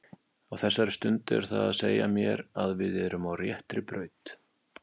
Á þessari stundu er það að segja mér að við erum á réttri braut.